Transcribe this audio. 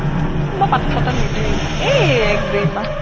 মই পাত্তা চাত্তা নিদিওঁ ইমান এই এক দুই মাহ